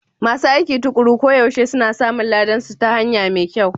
Masu aiki tuƙuru koyaushe suna samun ladansu ta hanya mai kyau.